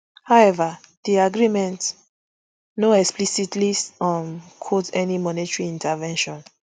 however di agreement no explicitly um quote any monetary intervention